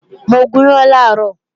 Mo gùn yán làárọ̀